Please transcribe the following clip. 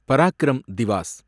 Parakram Diwas